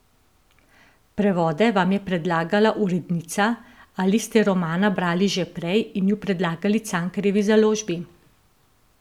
Prevode vam je predlagala urednica ali ste romana brali že prej in ju predlagali Cankarjevi založbi?